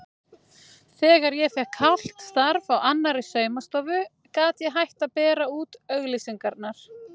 Þegar ég fékk hálft starf á annarri saumastofu gat ég hætt að bera út auglýsingarnar.